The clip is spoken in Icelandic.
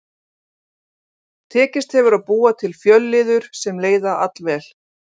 Tekist hefur að búa til fjölliður sem leiða allvel.